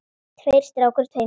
Tveir strákar í tveimur skotum.